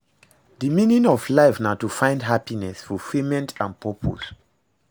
di meaning of life na to find happiness, fulfillment and purpose.